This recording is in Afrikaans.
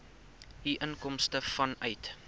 u inkomste vanuit